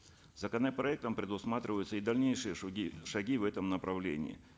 законопроектом предусматриваются и дальнейшие шаги в этом направлении